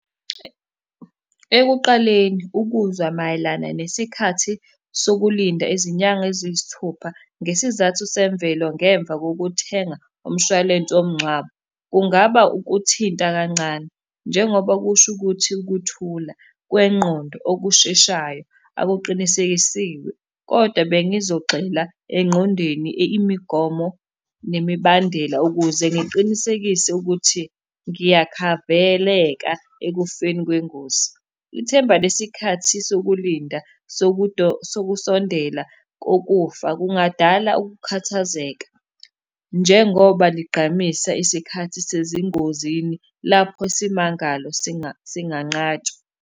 Ekuqaleni, ukuzwa mayelana nesikhathi sokulinda izinyanga eziyisithupha ngesizathu semvelo ngemva kokuthenga umshwalense womngcwabo. Kungaba ukuthinta kancane, njengoba kusho ukuthi ukuthula kwengqondo okusheshayo akuqinisekisiwe, kodwa bengizogxila engqondweni imigomo nemibandela ukuze ngiqinisekise ukuthi ngiyakhaveleka ekufeni kwengozi. Ithemba lesikhathi sokulinda sokusondela kokufa kungadala ukukhathazeka njengoba ligqamisa isikhathi sezingozini lapho isimangalo singanqatshwa.